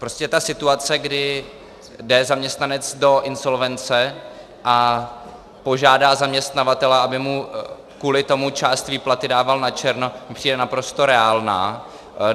Prostě ta situace, kdy jde zaměstnanec do insolvence a požádá zaměstnavatele, aby mu kvůli tomu část výplaty dával načerno, mi přijde naprosto reálná.